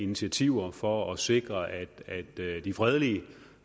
initiativer for at sikre at at de fredelige